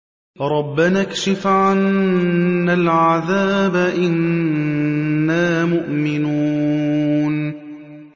رَّبَّنَا اكْشِفْ عَنَّا الْعَذَابَ إِنَّا مُؤْمِنُونَ